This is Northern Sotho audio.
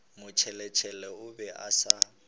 motšheletšhele o be a sa